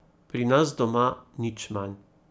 Pri nas doma nič manj.